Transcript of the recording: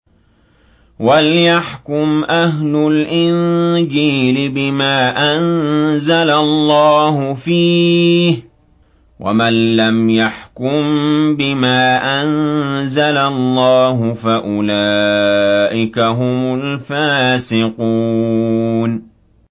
وَلْيَحْكُمْ أَهْلُ الْإِنجِيلِ بِمَا أَنزَلَ اللَّهُ فِيهِ ۚ وَمَن لَّمْ يَحْكُم بِمَا أَنزَلَ اللَّهُ فَأُولَٰئِكَ هُمُ الْفَاسِقُونَ